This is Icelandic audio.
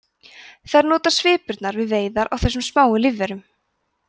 þær nota svipurnar við veiðar á þessum smáu lífverum